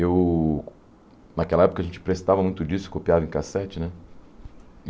Eu... Naquela época a gente prestava muito disco, copiava em cassete, né?